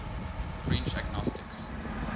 french agnostics